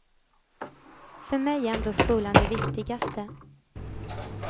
För mig är ändå skolan det viktigaste.